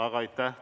Aga aitäh!